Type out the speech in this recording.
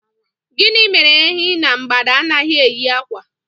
Gịnị mere Ehi na mgbada anaghị eyi kwa?